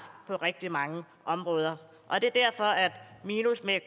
på rigtig mange områder